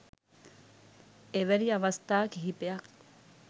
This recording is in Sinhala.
එවැනි අවස්ථා කිහිපයක්